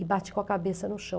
E bate com a cabeça no chão.